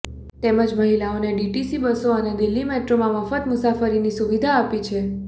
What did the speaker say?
તેમજ મહિલાઓને ડીટીસી બસો અને દિલ્હી મેટ્રોમાં મફત મુસાફરીની સુવિધા આપી છે